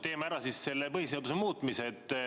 Teeme siis ära selle põhiseaduse muutmise.